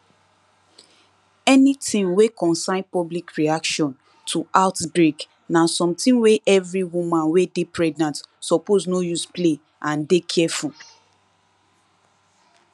anytin wey concern public reaction to outbreak na something wey every woman wey dey pregnant suppose no use play and dey careful